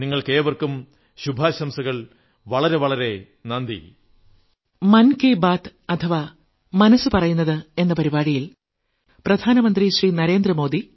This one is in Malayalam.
നിങ്ങൾക്കേവർക്കും ശുഭാശംസകൾ വളരെ വളരെ നന്ദി